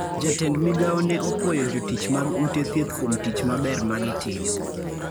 Jatend migawo ne opwoyo jotich mag ute thieth kuom tich maber ma gitimo.